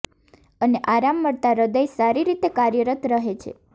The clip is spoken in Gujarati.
અને આરામ મળતા હૃદય સારી રીતે કાર્યરત રહે છે